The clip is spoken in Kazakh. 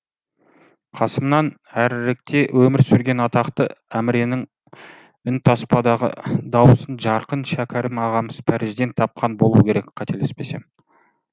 қасымнан әріректе өмір сүрген атақты әміренің үнтаспадағы даусын жарқын шәкәрім ағамыз парижден тапқан болуы керек қателеспесем